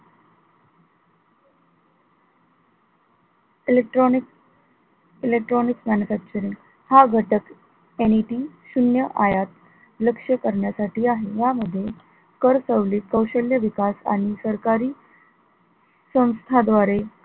elctronic electronic manufacturing हा घटक anything शून्य आयात लक्ष करण्यासाठी आहे या मध्ये कर सवलत कौशल्य विकास आणि संस्था द्वारे,